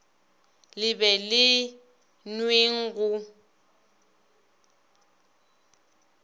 le be le nweng go